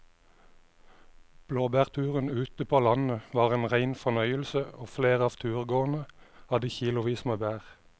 Blåbærturen ute på landet var en rein fornøyelse og flere av turgåerene hadde kilosvis med bær.